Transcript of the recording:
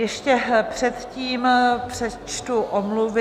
Ještě předtím přečtu omluvy.